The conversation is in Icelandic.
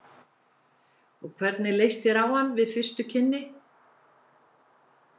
Og hvernig leist þér á hann við fyrstu kynni?